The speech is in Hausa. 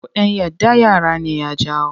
Cuɗanya da yara ne ya jawo.